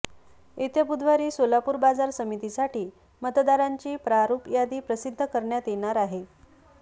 येत्या बुधवारी सोलापूर बाजार समितीसाठी मतदारांची प्रारुप यादी प्रसिध्द करण्यात येणार आहे